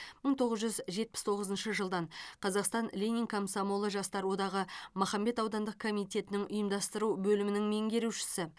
мың тоғыз жүз жетпіс тоғызыншы жылдан қазақстан лениндік комсомол жастар одағы махамбет аудандық комитетінің ұйымдастыру бөлімінің меңгерушісі